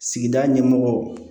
Sigida ɲɛmɔgɔ